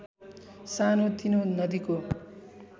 सानो तिनो नदीको